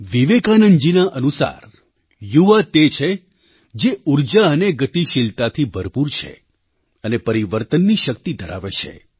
વિવેકાનંદજીના અનુસાર યુવા તે છે જે ઊર્જા અને ગતિશીલતાથી ભરપૂર છે અને પરિવર્તનની શક્તિ ધરાવે છે